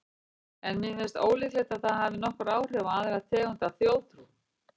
En mér finnst ólíklegt að það hafi nokkur áhrif á aðra tegund af þjóðtrú.